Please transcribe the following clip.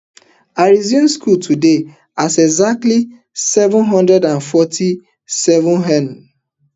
i resume school today at exactly seven hundred and forty-seven hem